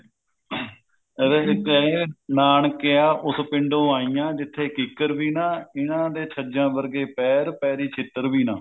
ਇਹਦੇ ਵਿੱਚ ਇਹ ਆ ਨਾਨਕਿਆਂ ਉਸ ਪਿੰਡੋਂ ਆਈਆਂ ਜਿੱਥੇ ਕਿੱਕਰ ਵੀ ਨਾ ਇਨ੍ਹਾਂ ਦੇ ਛੱਜਾਂ ਵਰਗੇ ਪੈਰ ਪੈਰੀ ਛਿੱਤਰ ਵੀ ਨਾ